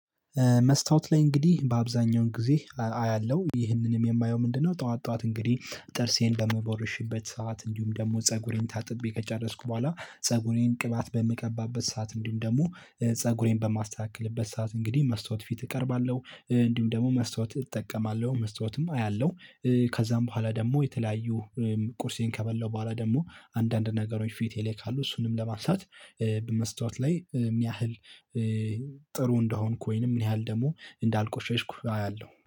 መስታወት ላይ እንግዲህ በአብዛኛው ጊዜ አያለው ይህንንም የማየው ምንድነው? ጠዋት ጠዋት እንግዲህ ጥርሴን በምቦርሽበት ሰዓት እንዲሁም ደግሞ ፀጉሬን ታጥቤ ከጨረስኩ በኋላ ፀጉሬን ቅባት በምቀባበት ሰዓት እንዲሁም ደግሞ ፀጉሬን በማስተካከልበት ሰዓት እንግዲህ መስተዋት ፊት እቀርባለው እንዲሁም ደግሞ መስተዋት እጠቀማለው መስተዋትም አያለው። ከዛም በኋላ ደግሞ የተለያዩ ቁርሴን ከበላው በኋላ ደግሞ አንዳንድ ነገሮች ፊት ካሉ እሱንም ለማሳት። በመስተዋት ላይ ምን ያህል ጥሩ እንደሆንኩ ወይንም ምን ያህል ደግሞ እንዳልቆሸሽኩ አያለው